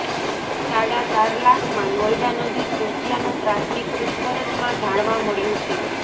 સાડા ચાર લાખમાં નોયડા નજીક વેચ્યાનું પ્રાથમિક પૂછપરછમાં જાણવા મળ્યું છે